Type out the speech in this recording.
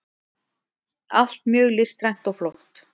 allt mjög listrænt og flott.